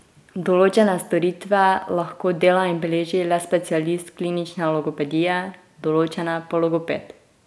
Določene storitve lahko dela in beleži le specialist klinične logopedije, določene pa logoped.